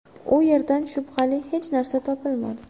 U yerdan shubhali hech narsa topilmadi.